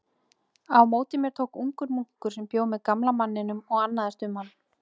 Á móti mér tók ungur munkur sem bjó með gamla manninum og annaðist um hann.